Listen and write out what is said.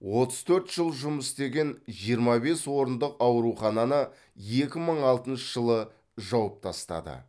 отыз төрт жыл жұмыс істеген жиырма бес орындық аурухананы екі мың алтыншы жылы жауып тастады